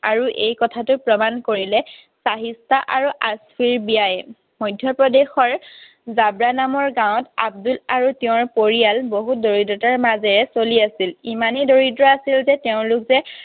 আৰু এই কথাটো প্ৰমাণ কৰিলে চাহিষ্ঠা আৰু আস্ফিৰ বিয়ায়ে। মধ্য প্ৰদেশৰ দাদৰা নামৰ গাঁৱত আব্দুল আৰু তেওঁৰ পৰিয়াল বহুত দৰিদ্ৰতাৰ মাজেৰে চলি আছিল। ইমানেই দৰিদ্ৰ আছিল যে তেওঁলোকে